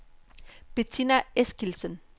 Bettina Eskildsen